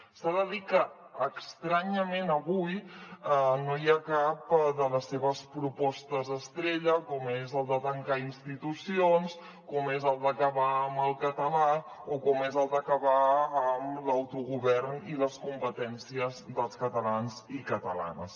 s’ha de dir que estranyament avui no hi ha cap de les seves propostes estrella com és la de tancar institucions com és la d’acabar amb el català o com és la d’acabar amb l’autogovern i les competències dels catalans i catalanes